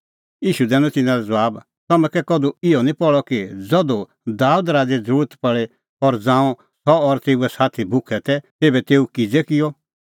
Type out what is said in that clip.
ईशू दैनअ तिन्नां लै ज़बाब तम्हैं कै कधू इहअ निं पहल़अ कि ज़धू दाबेद राज़ै ज़रुरत पल़ी और ज़ांऊं सह और तेऊए साथी भुखै तै तेभै तेऊ किज़ै किअ